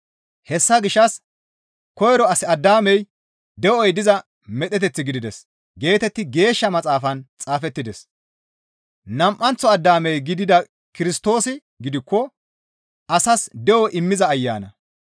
Hessa gishshas, «Koyro as Addaamey de7oy diza medheteth gidides» geetetti Geeshsha Maxaafan xaafettides. Nam7anththo Addaame gidida Kirstoosi gidikko asas de7o immiza Ayana.